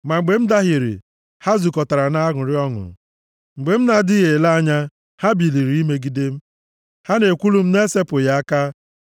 Ma mgbe m dahiere, ha zukọtara na-aṅụrị ọṅụ; mgbe m na-adịghị ele anya, ha biliri imegide m. Ha na-ekwulu m na-esepụghị aka.